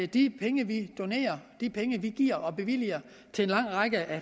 de penge vi donerer de penge vi giver og bevilger til en lang række